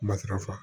Matarafa